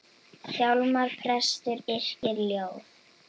Hjálmar prestur yrkir ljóð.